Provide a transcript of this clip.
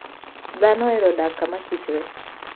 Dhano ohero dak kamakichr.